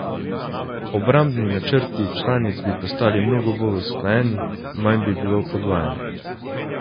Obrambni načrti članic bi postali mnogo bolj usklajeni, manj bi bilo podvajanj.